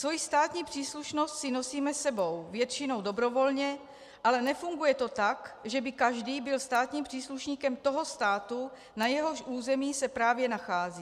Svoji státní příslušnost si nosíme sebou, většinou dobrovolně, ale nefunguje to tak, že by každý byl státním příslušníkem toho státu, na jehož území se právě nachází.